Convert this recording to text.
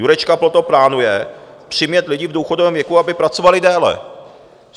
Jurečka proto plánuje přimět lidi v důchodovém věku, aby pracovali déle.